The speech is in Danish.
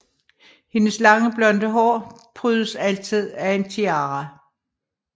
Hendes lange blonde hår prydes altid af en tiara